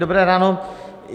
Dobré ráno.